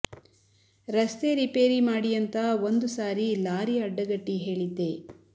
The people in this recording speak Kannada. ರಸ್ತೆ ರಿಪೇರಿ ಮಾಡಿ ಅಂತ ಒಂದು ಸಾರಿ ಲಾರಿ ಅಡ್ಡಗಟ್ಟಿ ಹೇಳಿದ್ದೆ